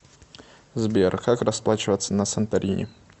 сбер как расплачиваться на санторини